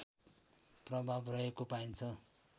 प्रभाव रहेको पाइन्छ